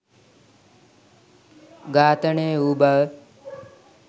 ඝාතනය වූ බව.